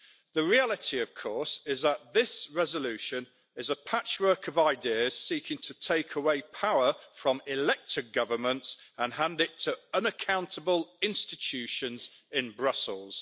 The reality, of course, is that this resolution is a patchwork of ideas, seeking to take away power from elected governments and hand it to unaccountable institutions in Brussels.